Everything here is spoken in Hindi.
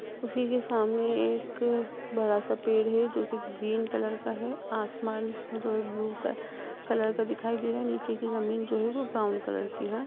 उसी के सामने एक बड़ा सा पेड़ हैं जो की ग्रीन कलर का है। आसमान जो है। ब्लू कलर का दिखाई दे रहा है। नीचे की जमीन जो है वो ब्राउन कलर की है।